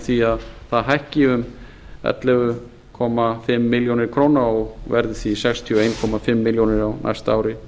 því að það hækki um ellefu og hálfa milljón króna og verði því sextíu og eins og hálfa milljón á næsta ári